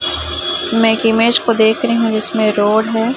मैं इमेज को देख रही हूं जिसमें रोड है।